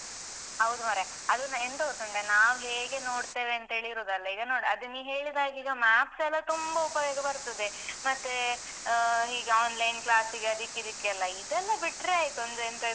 ಹೌದು ಮಾರ್ರೆ. ಅದು ನ ಎಂತ ಗೊತ್ತುಂಟ ನಾವು ಹೇಗೆ ನೋಡ್ತೇವಂತೇಳಿ ಇರುದಲ್ಲ, ಈಗ ನೋಡು ಅದು ನೀ ಹೇಳಿದ ಹಾಗೆ ಈಗ maps ಎಲ್ಲಾ ತುಂಬ ಉಪಯೋಗ ಬರ್ತದೆ. ಮತ್ತೆ ಅಹ್ ಹೀಗೆ online class ಗೆ ಅದಿಕ್ಕೆ ಇದಿಕ್ಕೆಲ್ಲ. ಇದೆಲ್ಲ ಬಿಟ್ರೆ ಆಯ್ತು, ಒಂದೆಂತೆಲ್ಲ